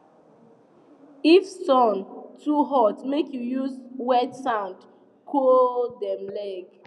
if sun too hot make u use wet sand sand cool dem leg